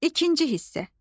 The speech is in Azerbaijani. İkinci hissə.